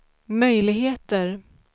möjligheter